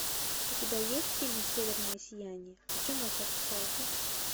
у тебя есть фильм северное сияние о чем молчат русалки